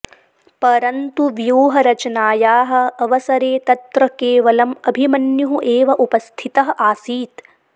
परन्तु व्यूहरचनायाः अवसरे तत्र केवलम् अभिमन्युः एव उपस्थितः आसीत्